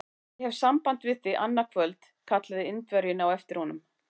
Ég hef samband við þig annað kvöld! kallaði Indverjinn á eftir honum.